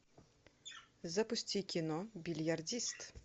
запусти кино бильярдист